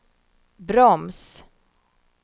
broms